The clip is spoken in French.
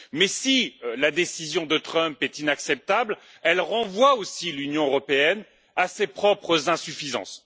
Si la décision de Trump est inacceptable, elle renvoie aussi l'Union européenne à ses propres insuffisances.